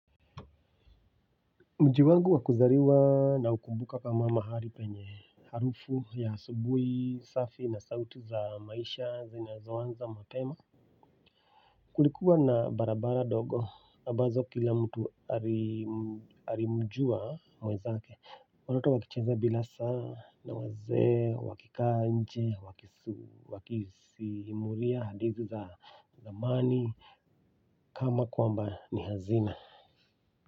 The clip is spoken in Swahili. Mji wangu wa kuzaliwa naukumbuka kama mahali penye harufu ya asubuhi, safi na sauti za maisha, zinazoanza, mapema. Kulikuwa na barabara dogo, ambazo kila mtu alimjua mwenzake, watoto wakicheza bila saa, na wazee, wakikaa nje, wakisimulia, hadithi za zamani, kama kwamba ni hazina.